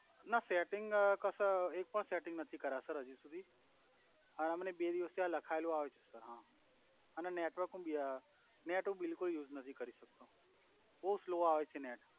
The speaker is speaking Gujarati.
ના સેટિંગ અ કસ એક પણ સેટિંગ નથી કર્યા સર હ્જી સુધી તો આ મને બે દિવસ થયા લખાયેલુ આવે છે સર હા અને નેટવર્ક નેટ હુ બિલ્કુલ યુઝ નથી કરી શક્તો બોવ સ્લોવ આવે છે નેટ.